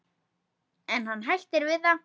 En hann hættir við það.